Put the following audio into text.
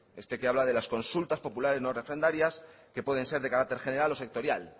este que habla de las consultas populares no refrendarías que pueden ser de carácter general o sectorial las